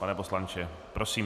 Pane poslanče, prosím.